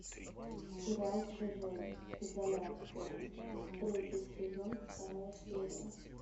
сериал чужой изоляция третий сезон вторая серия